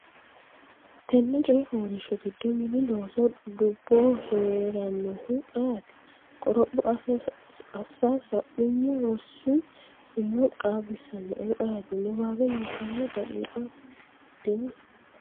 Tenne coy fooliishsho giddo Mini Looso dubboho hee’rannohu ayeeti? qoropho assa sa’nummo rosi umo qaagisannoehu ayeeti? Niwaawe Nabbawa daqiiqa Fushshitini?